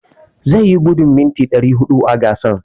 Zai yi gudun mita ɗari huɗu a gasar.